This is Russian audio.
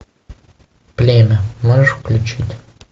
племя можешь включить